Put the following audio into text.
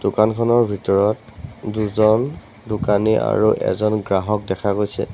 দোকানখনৰ ভিতৰত দুজন দোকানী আৰু এজন গ্ৰাহক দেখা গৈছে।